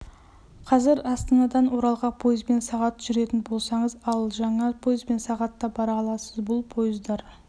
қазір астанадан оралға пойызбен сағат жүретін болсаңыз ал жаңа пойызбен сағатта бара аласыз бұл пойыздар